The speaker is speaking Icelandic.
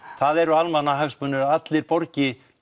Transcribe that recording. það eru almannahagsmunir að allir borgi